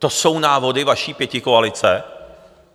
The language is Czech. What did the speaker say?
To jsou návody vaší pětikoalice?